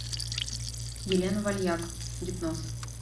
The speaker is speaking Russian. елена вальяк гипноз